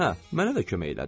Hə, mənə də kömək elədi.